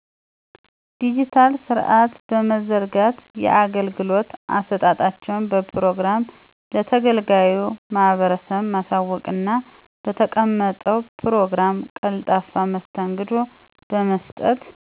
ድጅታል ስርአት በመዘርጋት የአገልግሎት አሰጣጣቸውን በፕሮግራም ለተገልጋዩ ማህበረሰብ ማሳወቅና በተቀመጠው ፕሮግራም ቀልጣፋ መስተንግዶ በመስጠት።